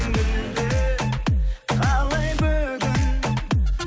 мүлде қалай бүгін